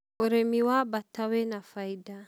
ũrĩmi wa baata wĩ na baida